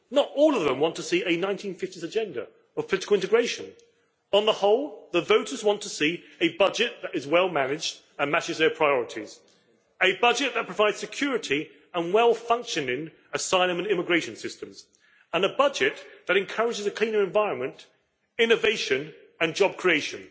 Not all of them want to see a 1950s agenda of political integration. On the whole, the voters want to see a budget that is well managed and matches their priorities, a budget that provides security and well-functioning asylum and immigration systems, and a budget that encourages a cleaner environment, innovation and job creation.